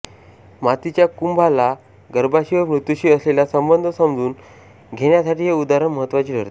मातीच्या कुंभाला गर्भाशी व मृत्यूशी असलेला संबंध समजून घेण्यासाठी हे उदाहरण महत्त्वाची ठरते